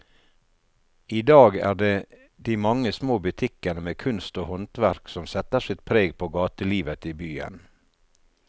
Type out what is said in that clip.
I dag er det de mange små butikkene med kunst og håndverk som setter sitt preg på gatelivet i byen.